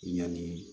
Yanni